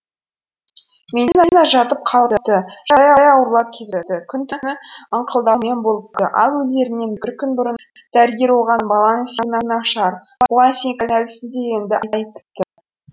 ментина жатып қалыпты жағдайы ауырлап кетіпті күні түні ыңқылдаумен болыпты ал өлерінен бір күн бұрын дәрігер оған баланың сүйегі нашар бұған сен кінәлісің дегенді айтыпты